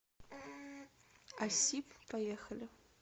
асип поехали